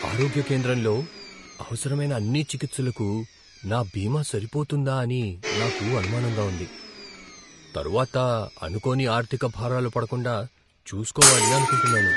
ఆరోగ్య కేంద్రంలో అవసరమైన అన్ని చికిత్సలకు నా బీమా సరిపోతుందా అని నాకు అనుమానంగా ఉంది. తరువాత అనుకోని ఆర్ధిక భారాలు పడకుండా చూసుకోవాలి అనుకుంటున్నాను.